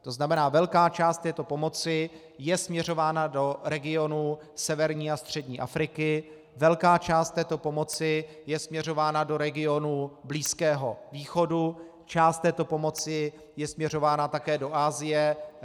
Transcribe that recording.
To znamená, velká část této pomoci je směřována do regionu severní a střední Afriky, velká část této pomoci je směřována do regionu Blízkého východu, část této pomoci je směřována také do Asie.